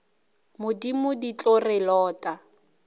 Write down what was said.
modimo di tlo re lota